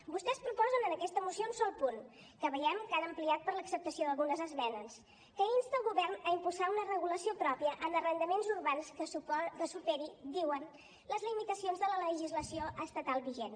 vostès proposen en aquesta moció un sol punt que veiem que han ampliat per l’acceptació d’algunes esmenes que insta el govern a impulsar una regulació pròpia en arrendaments urbans que superi diuen les limitacions de la legislació estatal vigent